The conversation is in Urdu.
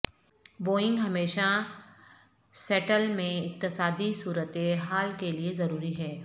بوئنگ ہمیشہ سیٹل میں اقتصادی صورتحال کے لئے ضروری ہے